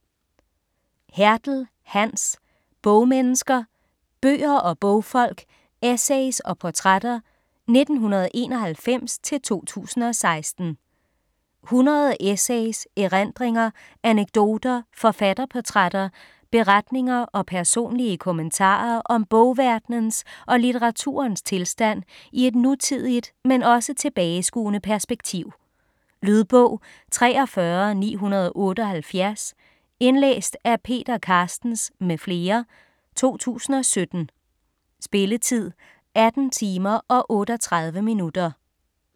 Hertel, Hans: Bogmennesker: bøger og bogfolk: essays og portrætter 1991-2016 100 essays, erindringer, anekdoter, forfatterportrætter, beretninger og personlige kommentarer om bogverdenens og litteraturens tilstand i et nutidigt, men også tilbageskuende perspektiv. Lydbog 43978 Indlæst af Peter Carstens m.fl., 2017. Spilletid: 18 timer, 38 minutter.